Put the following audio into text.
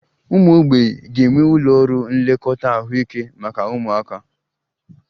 Ụmụ mgbei ga-enwe ụlọ ọrụ nlekọta ahụike maka ụmụaka